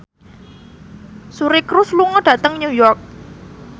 Suri Cruise lunga dhateng New York